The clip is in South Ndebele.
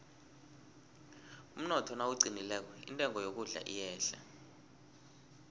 umnotho nawuqinileko intengo yokudla iyehla